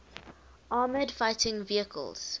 armoured fighting vehicles